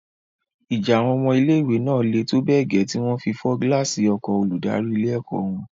Ìjà àwọn ọmọ ilé-ìwé náà le tó bẹ́ẹ̀ gẹ́ tí wọn fi fọ́ gíláàsì ọkọ̀o olùdarí ilé-ẹ̀kọ́ wọn.